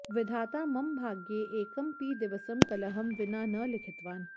विधाता मम भाग्ये एकमपि दिवसं कलहं विना न लिखितवान्